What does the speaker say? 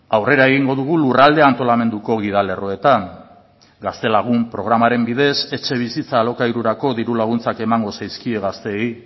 aurrera egingo dugu lurralde antolamenduko gidalerroetan gaztelagun programaren bidez etxebizitza alokairurako diru laguntzak emango zaizkie gazteei